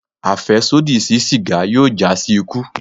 Afẹsodi si siga yoo ja si iku